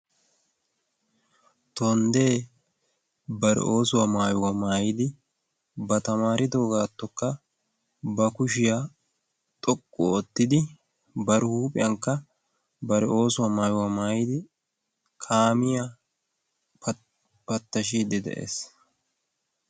Tonddee bare oosuwaa maayuwaa maayidi ba tamaaridoo gaattokka ba kushiyaa xoqqu oottidi bari huuphiyankka bari oosuwaa maayuwaa maayidi kaamiyaa pattashiiddi de'ees.